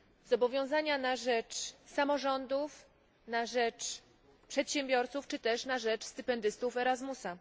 Zobowiązania na rzecz samorządów, na rzecz przedsiębiorców, czy też na rzecz stypendystów ERASMUSA.